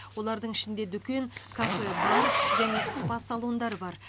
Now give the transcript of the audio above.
олардың ішінде дүкен кафе бар және спа салондар бар